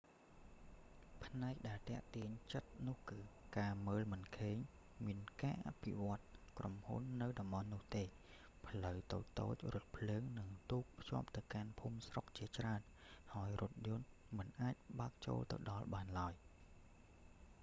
ផ្នែកដែលទាក់ទាញចិត្តនោះគឺ ការមើលមិនឃើញមានការអភិវឌ្ឍក្រុមហ៊ុននៅតំបន់នោះទេ ផ្លូវតូចៗ រថភ្លើង និងទូក ភ្ជាប់ទៅកាន់ភូមិស្រុកជាច្រើន ហើយរថយន្តមិនអាចបើលចូលទៅដល់បានឡើយ